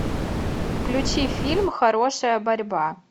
включи фильм хорошая борьба